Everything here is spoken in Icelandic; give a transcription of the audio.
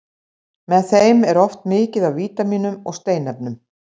Með þeim er oft mikið af vítamínum og steinefnum.